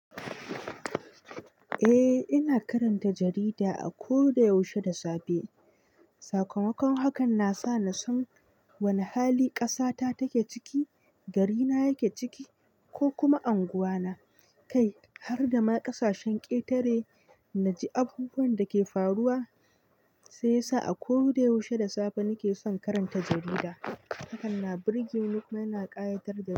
Eh ina karanta jarida a ko da yaushe da safe. Sakamakon hakan nasa na san wane hali ƙasa ta take ciki, gari na yake ciki ko kuma anguwa na. Kai har da ma ƙasashen ƙetare naji abubuwan da ke faruwa, sai sa a ko da yaushe da safe nike son karanta jarida. Hakanan birge muka yana ƙayatar da mu.